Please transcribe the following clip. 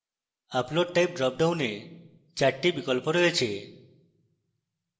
upload type ড্রপডাউনে 4 the বিকল্প রয়েছে